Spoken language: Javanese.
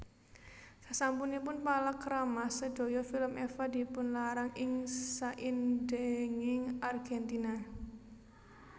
Sasampunipun palakrama sedaya film Eva dipunlarang ing saindhenging Argentina